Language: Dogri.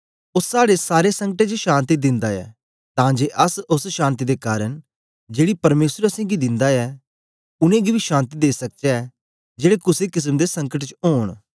ओ साड़े सारें संकटें च शान्ति दिंदा ऐ तां जे अस ओस शान्ति दे कारन जेड़ी परमेसर असेंगी दिंदा ऐ उनेंगी बी शान्ति देई सकचै जेड़े कुसे केसम दे संकट च ओंन